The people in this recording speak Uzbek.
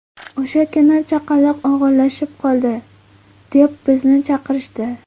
O‘sha kuni chaqaloq og‘irlashib qoldi, deb bizni chaqirishdi.